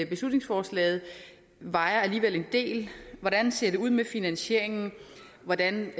beslutningsforslaget vejer alligevel en del hvordan ser det ud med finansieringen hvordan